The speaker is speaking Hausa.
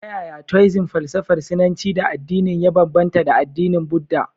Ta yaya Tooism falsafar Sinanci da addinin ya bambanta da addinin Buddha?